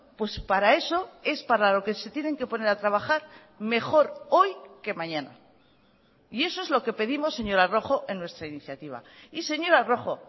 pues para eso es para lo que se tienen que poner a trabajar mejor hoy que mañana y eso es lo que pedimos señora rojo en nuestra iniciativa y señora rojo